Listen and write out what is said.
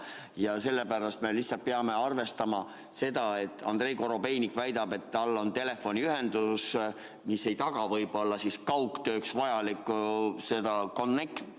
Aga nüüd me lihtsalt peame arvestama seda, et Andrei Korobeinik väidab, et tal on telefoniühendus, mis ei taga võib-olla kaugtööks vajalikku ühendust.